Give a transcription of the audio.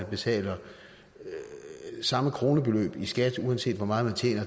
betaler samme kronebeløb i skat uanset hvor meget